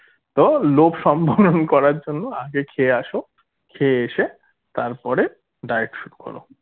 তো লোভ সম্ভরণ করার জন্য আগে খেয়ে আসো খেয়ে এসে তারপরে diet শুরু করো